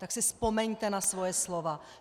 Tak si vzpomeňte na svoje slova.